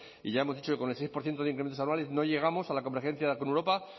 y ya hemos dicho que con el seis por ciento de incrementos anuales no llegamos a la convergencia con europa